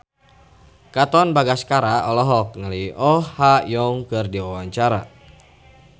Katon Bagaskara olohok ningali Oh Ha Young keur diwawancara